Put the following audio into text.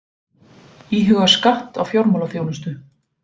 Íhuga skatt á fjármálaþjónustu